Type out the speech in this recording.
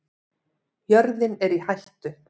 Jörðin er í hættu